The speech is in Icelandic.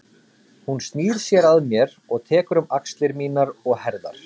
Hún snýr sér að mér og tekur um axlir mínar og herðar.